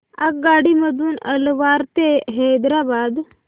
आगगाडी मधून अलवार ते हैदराबाद